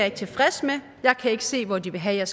ikke tilfreds med jeg kan ikke se hvor de vil have